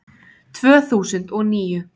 Tvö þúsund og níu